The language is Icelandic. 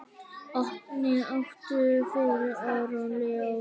Oddný átti fyrir Aron Leó.